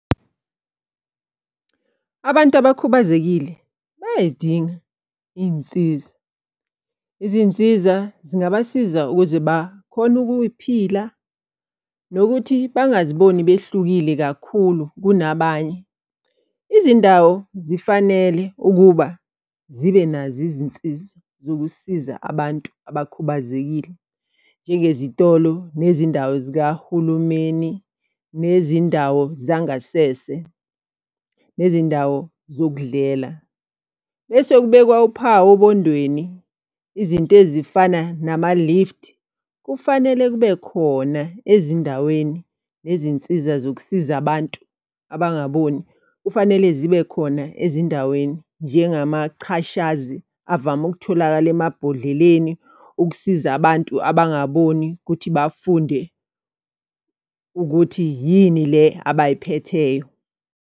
Abantu abakhubazekile bayay'dinga iy'nsiza. Izinsiza zingabasiza ukuze bakhone ukuphila nokuthi bangaziboni behlukile kakhulu kunabanye. Izindawo zifanele ukuba zibe nazo izinsiza zokusiza abantu abakhubazekile. Njengezitolo nezindawo zikahulumeni, nezindawo zangasese, nezindawo zokudlela. Bese kubekwa uphawu obondweni, izinto ezifana nama-lift. Kufanele kube khona ezindaweni nezinsiza zokusiza abantu abangaboni. Kufanele zibe khona ezindaweni njengamachashazi avame ukutholakala emabhodleleni ukusiza abantu abangaboni ukuthi bafunde ukuthi yini le abayiphetheyo.